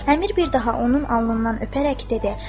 Əmir bir daha onun alnından öpərək dedi: